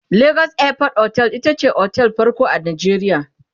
legas airport otel itace otel ɗin farko a Najeriya